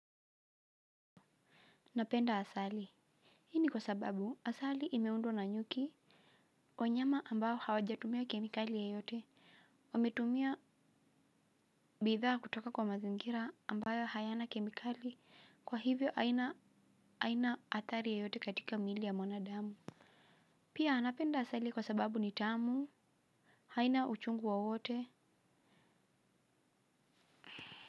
Napenda asali. Hini kwa sababu asali imeundwa na nyuki. Wanyama ambao hawajatumia kemikali yeyote wametumia bidhaa kutoka kwa mazingira ambayo hayana kemikali kwa hivyo haina haina athari yeyote katika mili ya mwana damu. Pia napenda asali kwa sababu ni tamu. Haina uchungu wowote.